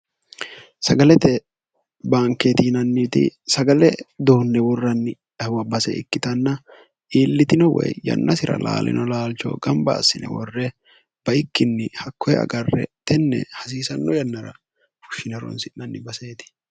sagalete baankeeti yinanniiti sagale dounne worranni wwa base ikkitanna iillitino woy yannasira laalino laalcho gamba assine worre baikkinni hakkoe agarre tenne hasiisanno yannara fushshine ronsi'nanni baseeti